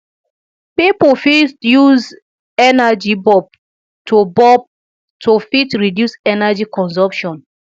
pipo fit use energy bulb to bulb to fit reduce energy consumption